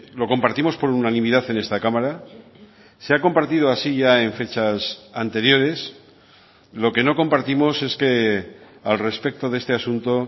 lo compartimos por unanimidad en esta cámara se ha compartido así ya en fechas anteriores lo que no compartimos es que al respecto de este asunto